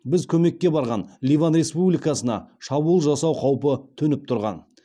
біз көмекке барған ливан республикасына шабуыл жасау қаупі төніп тұрған